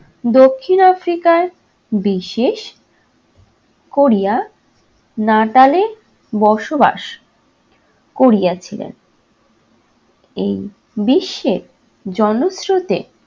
দক্ষিণ africa য় বিশেষ কোরিয়া নাতালে বসবাস করিয়াছিলেন। এই বিশ্বে জনস্রোতে